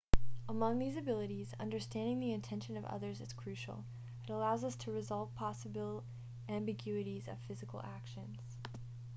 among these abilities understanding the intention of others is crucial it allows us to resolve possible ambiguities of physical actions